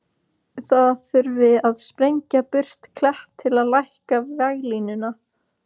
Það þurfi að sprengja burt klett til að lækka veglínuna.